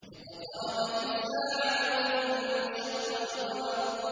اقْتَرَبَتِ السَّاعَةُ وَانشَقَّ الْقَمَرُ